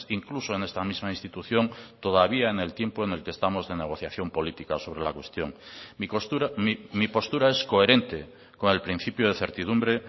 incluso en esta misma institución todavía en el tiempo en el que estamos de negociación política sobre la cuestión mi postura es coherente con el principio de certidumbre